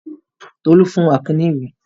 Tolú fún Akin ní ìwé.